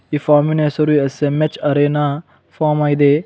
ಈ ಫಾರ್ಮ್ ಇನ ಹೆಸರು ಎಸ್_ಎಂ_ಎಚ್ ಅರೆನ ಫಾರ್ಮ್ ಆಗಿದೆ.